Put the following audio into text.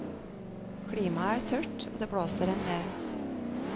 Klimaet er tørt, og det blåser en del.